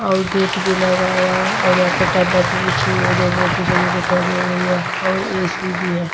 और गेट भी लगा हुआ है और यहां पर भी बिछी हुई हैं जो बोहोत ही सुंदर दिखाई दे रही है और ए_सी भी है।